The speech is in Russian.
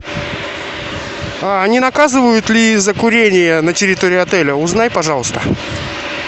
не наказывают ли за курение на территории отеля узнай пожалуйста